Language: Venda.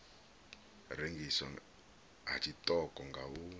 rengiswa ha tshiṱoko nga u